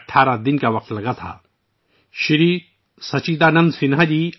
آئین ساز اسمبلی کے سب سے پرانے رکن جناب سچیدانند سنہا جی تھے